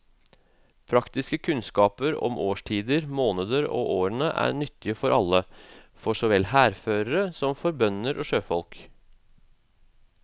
Praktiske kunnskaper om årstider, månedene og årene er nyttige for alle, for så vel hærførere som for bønder og sjøfolk.